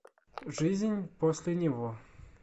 жизнь после него